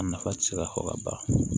A nafa ti se ka fɔ ka ban